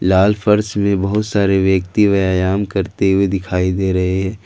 लाल फर्श में बहुत सारे व्यक्ति व्यायाम करते हुए दिखाई दे रहे --